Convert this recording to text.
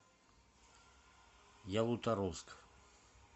ялуторовск